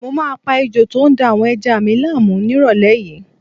Mo máa pa ejò tó ń da àwọn ẹja mi láàmú nírọ̀lẹ́ yìí